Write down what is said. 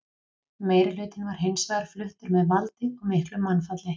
Meirihlutinn var hins vegar fluttur með valdi og miklu mannfalli.